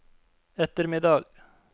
ettermiddag